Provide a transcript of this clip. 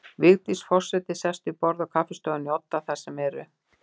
Vigdís forseti sest við borð í kaffistofunni í Odda, þar sem eru